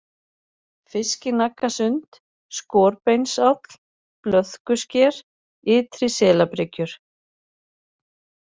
Fiskinaggasund, Skorbeinsáll, Blöðkusker, Ytri-Selabryggjur